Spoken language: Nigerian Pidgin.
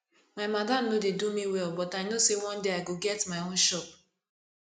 my madam no dey do me well but i know sey one day i go get my own shop